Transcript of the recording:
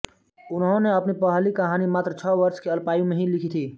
उन्होंने अपनी पहली कहानी मात्र छः वर्ष की अल्पायु में ही लिखी थी